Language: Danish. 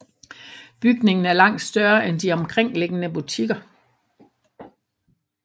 Bygningen er langt større end de omkringliggende butikker